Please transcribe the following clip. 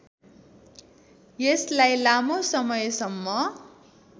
यसलाई लामो समयसम्म